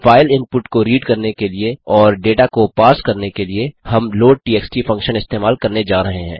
file input को read करने के लिए और डेटा को पर्स करने के लिए हम लोडटीएक्सटी फंक्शन इस्तेमाल करने जा रहे हैं